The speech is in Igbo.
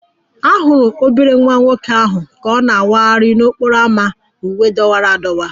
A hụrụ obere nwa nwoke ahụ ka ọ na-awagharị n'okporo ámá na uwe dọwara adọwa